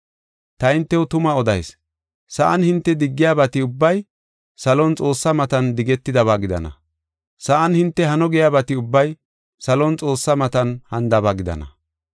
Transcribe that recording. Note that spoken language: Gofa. “Ta hintew tuma odayis; sa7an hinte diggiyabati ubbay salon Xoossaa matan digetidaba gidana. Sa7an hinte hano giyabati ubbay salon Xoossa matan hanidaba gidana.